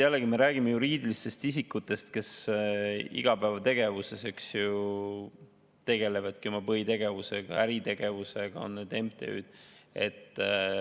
Jällegi, me räägime juriidilistest isikutest, kes oma põhilises igapäevategevuses tegelevadki äritegevusega, näiteks MTÜ-d.